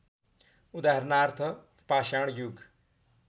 उदाहरणार्थ पाषाण युग